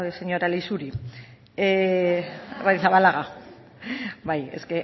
señora leixuri arrizabalaga bai es